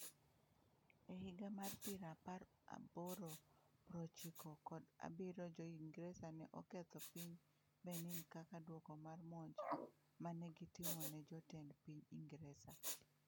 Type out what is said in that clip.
E higa mar pira apar aboro prochiko kod abirio jo Ingresa ne oketho piny Benin kaka duoko mar monj ma ne gitimo ne jotend piny Ingresa.